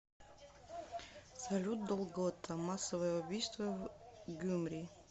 салют долгота массовое убийство в гюмри